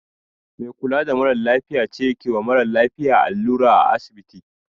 Mai kula da marasa lafiya ce kewa mara lafiya allura a asibiti